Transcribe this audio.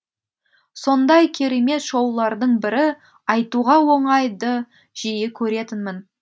сондай керемет шоулардың бірі айтуға оңай ды жиі көретінмін